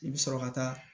I bɛ sɔrɔ ka taa